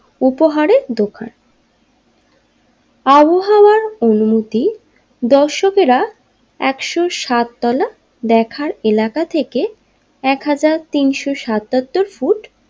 উপহারের দোকান আবহাওয়ার অনুমতি দর্শকেরা একশো সাত তলা দেখার এলাকা থেকে একহাজার তিনশো সাতাত্তর ফুট।